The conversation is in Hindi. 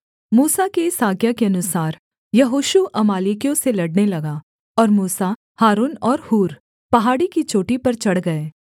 मूसा की इस आज्ञा के अनुसार यहोशू अमालेकियों से लड़ने लगा और मूसा हारून और हूर पहाड़ी की चोटी पर चढ़ गए